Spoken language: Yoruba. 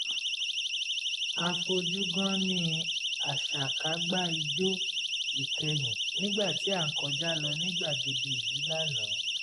a fojú gánní àṣakágbá ijó ìkẹ̀yìn nígbà tí à ń kọjá lọ ní gbàgede ìlú lánàá